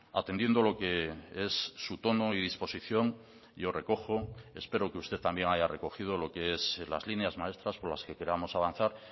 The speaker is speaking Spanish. atendiendo lo que es su tono y disposición yo recojo espero que usted también haya recogido lo que es las líneas maestras por las que queramos avanzar